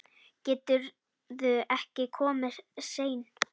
Geturðu ekki komið seinna?